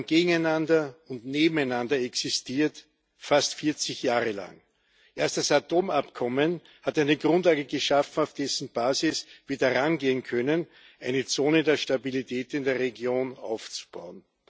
Wir haben gegeneinander und nebeneinander existiert fast 40 Jahre lang. Erst das Atomabkommen hat eine Grundlage geschaffen, auf deren Basis wir darangehen können, eine Zone der Stabilität in der Region aufzubauen.